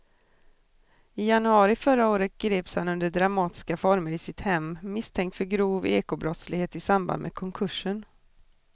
I januari förra året greps han under dramatiska former i sitt hem misstänkt för grov ekobrottslighet i samband med konkursen.